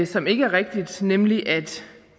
som ikke er rigtigt nemlig at